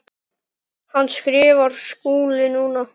Hvað skrifar Skúli núna?